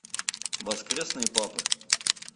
воскресный папа